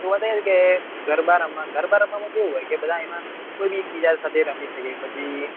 જોવા જઈએ કે ગરબા રમવા ગરબા રમવા માં કેવું હોય કે બધા એમાં કોઈ બી એક બીજા સાથે રમી સકે પછી